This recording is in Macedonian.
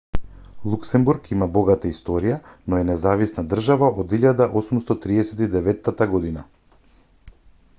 луксембург има богата историја но е независна држава од 1839 г